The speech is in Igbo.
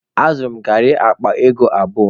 Azụrụ m garị akpa ego abụọ.